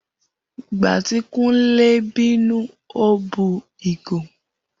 Igba ti Kunle binu, o bu igo.